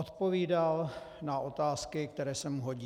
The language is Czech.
Odpovídal na otázky, které se mu hodí.